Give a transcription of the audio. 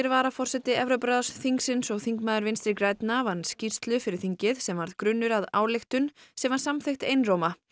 varaforseti Evrópuráðsþingsins og þingmaður Vinstri grænna vann skýrslu fyrir þingið sem varð grunnur að ályktun sem var samþykkt einróma